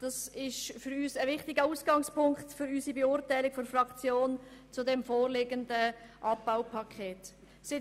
Das ist für uns ein wichtiger Ausgangspunkt für die Beurteilung des vorliegenden Abbaupakets durch unsere Fraktion.